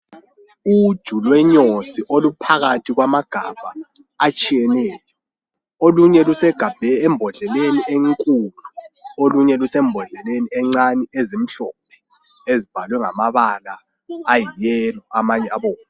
Uluju lwenyosi oluphakathi kwamagabha atshiyeneyo. Olunye lusembodleleni enkulu, olunye lusembodleleni encane ezimhlophe, ezibhalwe ngamabala ayiyellow amanye abomvu.